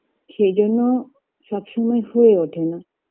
সেই জন্য সবসময় হয়ে ওঠে না